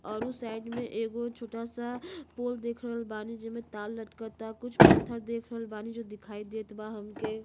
और उ साइड में एगो छोटा सा पोल देख रहल बानी जे में तार लटकता कुछ पत्थर देख रहल बानी जो दिखाई देत बा हमके --